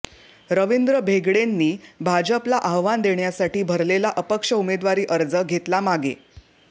रविंद्र भेगडेंनी भाजपला आव्हान देण्यासाठी भरलेला अपक्ष उमेदवारी अर्ज घेतला मागे